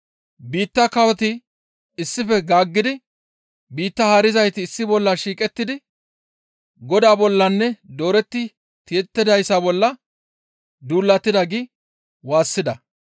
Biitta kawoti issife gaaggidi biitta haarizayti issi bolla shiiqettidi Godaa bollanne dooretti tiyettidayssa bolla duulatida› gi waassida.